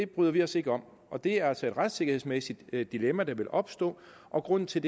bryder vi os ikke om og det er altså et retssikkerhedsmæssigt dilemma der vil opstå og grunden til